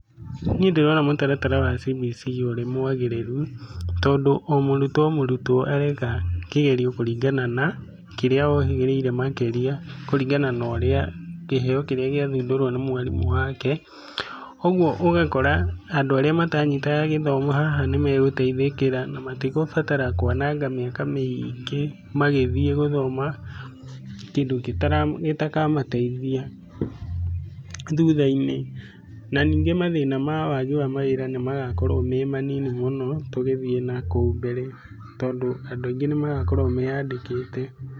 Niĩ ndĩrona mũtaratara wa CBC ũrĩ mwagĩrĩru, tondũ o mũrutuo o murutuo areka kĩgerio kũringana na, kĩrĩa ohĩgĩire makĩria, kũringana na ũrĩa, kĩheo kĩrĩa gĩathuthurio nĩ mwarimu wake. Ũguo ũgakora, andũ arĩa matanyitaga gĩthomo haha nĩmegũteithĩkĩra na matirabatara kũananga mĩaka mĩingĩ magĩthiĩ gũthoma, kĩndũ gĩtara, gĩtakamateithia, thuthainĩ na ningĩ mathĩna ma wagi wa mawĩra nĩ magakorũo me manini mũno, tũgĩthiĩ nakũu mbere, tondũ andũ aingĩ nĩmagakorũo meyandĩkĩte.